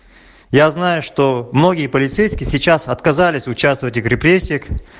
я знаю что многие полицейский сейчас отказались участвовать и крестик